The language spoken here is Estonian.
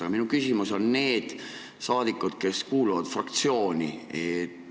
Aga minu küsimus on nende saadikute kohta, kes kuuluvad fraktsiooni.